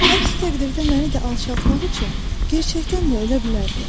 Əks təqdirdə məni də alçaltmaq üçün gerçəkdən də ölə bilərdi.